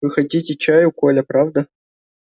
вы хотите чаю коля правда